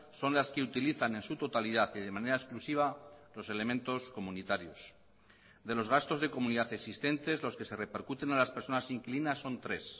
son las que utilizan en su totalidad y de manera exclusiva los elementos comunitarios de los gastos de comunidad existentes los que se repercuten a las personas inquilinas son tres